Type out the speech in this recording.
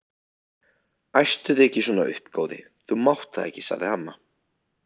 Æstu þig ekki svona upp góði, þú mátt það ekki sagði amma.